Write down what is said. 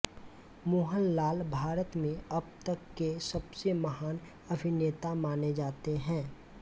मोहनलाल भारत में अब तक के सबसे महान अभिनेता माने जाते हैं